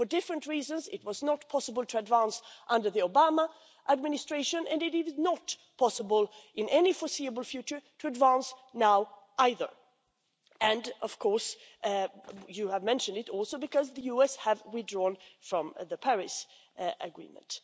For different reasons, it was not possible to advance under the Obama administration and it is not possible in any foreseeable future to advance now either and, of course also because the US have withdrawn from the Paris Agreement.